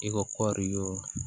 I ka kɔɔri wo